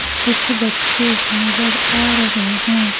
कुछ बच्चे नजर आ रहे हैं।